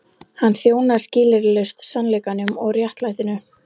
Hann þjónaði skilyrðislaust sannleikanum og réttlætinu.